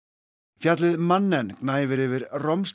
fjallið gnæfir yfir